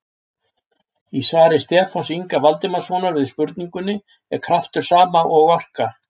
Í svari Stefáns Inga Valdimarssonar við spurningunni Er kraftur sama og orka?